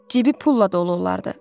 Cibi pulla dolu olardı.